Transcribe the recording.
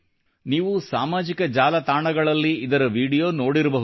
ನೀವೂ ಸಾಮಾಜಿಕ ಜಾಲತಾಣಗಳಲ್ಲಿ ಇದರ ವಿಡಿಯೋ ನೋಡಿರಬಹುದು